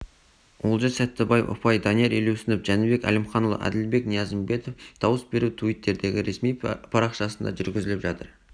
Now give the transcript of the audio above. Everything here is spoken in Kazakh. олжас сәттібаев ұпай данияр елеусінов жәнібек әлімханұлы әділбек ниязымбетов дауыс беру туиттердегі ресми парақшасында жүргізіліп жатыр